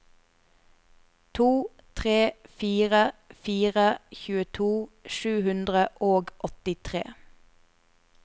to tre fire fire tjueto sju hundre og åttitre